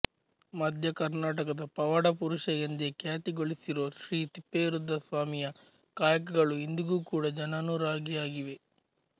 ಮಧ್ಯ ಕರ್ನಾಟಕದ ಪವಾಡ ಪುರುಷ ಎಂದೇ ಖ್ಯಾತಿ ಗಳಿಸಿರೋ ಶ್ರೀ ತಿಪ್ಪೇರುದ್ರ ಸ್ವಾಮಿಯ ಕಾಯಕಗಳು ಇಂದಿಗೂ ಕೂಡ ಜನಾನುರಾಗಿಯಾಗಿವೆ